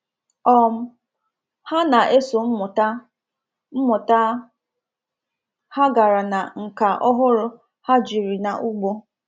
um Ha na-eso mmụta mmụta ha gara na nka ọhụrụ ha jiri na ugbo.